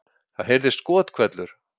Það heyrðist skothvellur